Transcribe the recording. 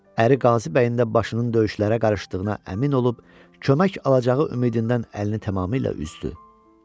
Əri Qazı bəyin də başının döyüşlərə qarışdığına əmin olub, kömək alacağı ümidindən əlini tamamilə üzdü.